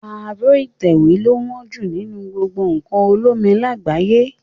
Aró ìtẹ̀wé lo wón jù nínú gbogbo nkàn olómi làgbáyé